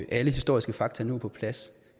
alle historiske fakta nu er på plads